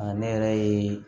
ne yɛrɛ ye